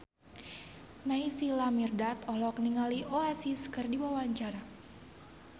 Naysila Mirdad olohok ningali Oasis keur diwawancara